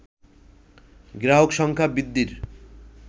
গ্রাহক সংখ্যা বৃদ্ধির